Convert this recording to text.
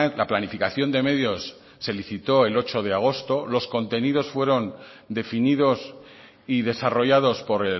la planificación de medios se licitó el ocho de agosto los contenidos fueron definidos y desarrollados por